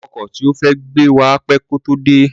Ọkọ̀ tí ó fẹ́ gbé wa pẹ́ kí ó tó dé